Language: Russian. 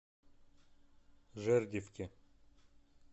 жердевке